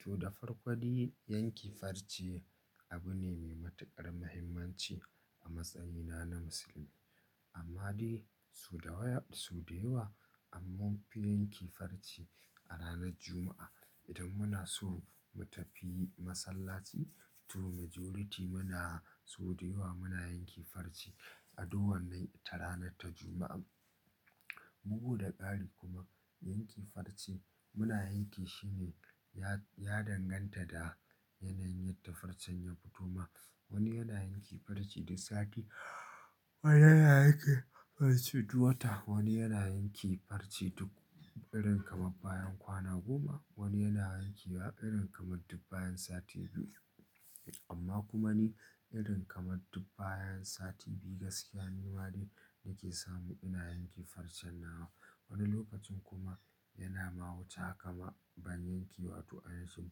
To, da farko dai yanke farce abu ne mai matuƙar muhimmanci a matsayina na musulmi. Amma dai so da yawa so da yawa, amma fi yanke farce a ranar Juma'a. Idan muna so mu tafi masallaci to majority muna so da yawa muna yanke farce a dowar nan ta ranar ta Juma'a. Bugu da ƙari kuma yanke farce muna yanke shi ne ya, ya danganta da yanayin ta farcen ya fito ma. Wani yana yanke farce duk sati, wani yana yanke farce duk wata, wani yana yanke farce duk irin kamar bayan kwana goma, wani yana yankewa irin kamar duk bayan sati biyu. Amma kuma ni irin kamar duk bayan sati biyu gaskiya ni ma dai nake samu ina yanke farcen nawa. Wani lokacin kuma yana mahuce kama ban yankewa to a nishin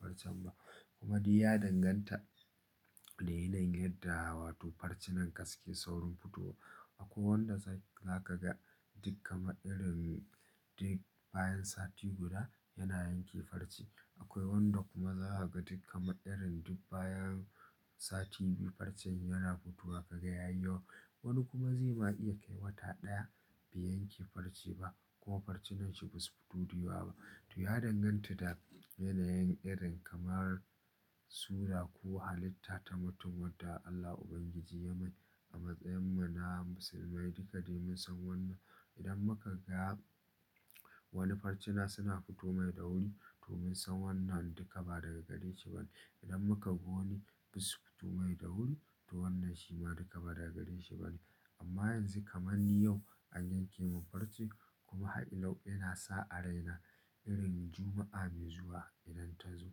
farcen ba. Kuma dai ya danganta da yanayin yadda wato farce nan ka suke saurin fitowa. Akwai wanda za za ka ga duk kama irin duk bayan sati guda yana yanke farce. Akwai wanda kuma za ka ga duk kama irin duk bayan sati biyu farcen yana futowa ka ga ya yiwu. Wani kuma zai ma iya kai wata ɗaya bai yanke farce ba ko farce nan shi ba su fito da yiwuwa ba. To ya danganta da yanayin irin kamar sura ko halitta ta mutum wadda Allah Ubangiji ya mai a matsayin mu na musulmai duka dai mun san wannan. Idan muka ga wani farcena suna fito mai da wuri to mun san wannan duka ba daga gare shi bane. Idan muka ga wani basu fito mai da wuri to wannan shi ma duka ba daga gare shi bane. Amma yanzu kamar ni yau an yanke mun farce kuma haila yana sa a raina irin Juma'a mai zuwa idan ta zo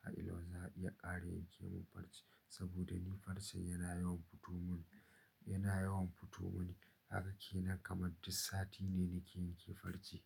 ha ila za a iya ƙara yanke mun farce saboda ni farcen yana yawan futo mun, yana yawan futo mun. Kaga ke nan kamar duk sati ne nake yanke farce.